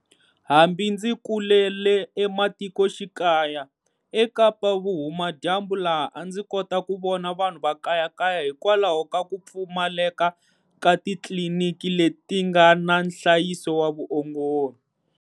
Hambi ndzi kulele ematikoxikaya eKapa-Vuhumadyambu laha a ndzi kota ku vona vanhu va kayakaya hikwalaho ka ku pfumaleka ka titliliniki leti nga na nhlayiso wa vuongori.